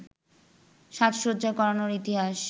সাজসজ্জা করানোর ইতিহাস